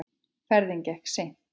Ferðin gekk seint.